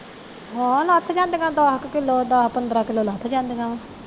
ਹਾ ਲੱਥ ਜਾਂਦੀਆਂ ਦੱਸ ਕੇ ਕਿਲੋ ਦੱਸ ਪੰਦਰਾਂ ਕਿਲੋ ਲੱਥ ਜਾਂਦੀਆਂ ਨੇ